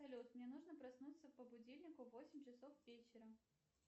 салют мне нужно проснуться по будильнику в восемь часов вечера